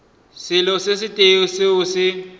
selo se tee seo se